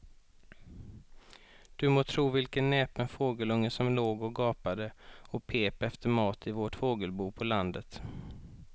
Du må tro vilken näpen fågelunge som låg och gapade och pep efter mat i vårt fågelbo på landet.